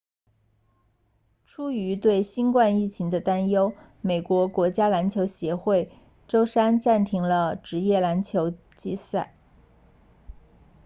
出于对新冠疫情的担忧美国国家篮球协会 nba 周三暂停了职业篮球赛季